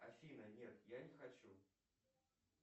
афина нет я не хочу